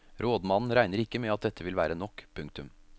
Rådmannen regner ikke med at dette vil være nok. punktum